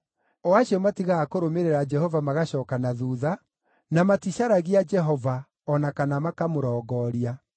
o acio matigaga kũrũmĩrĩra Jehova magacooka na thuutha, na maticaragia Jehova, o na kana makamũrongooria.